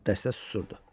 Dəstə susurdu.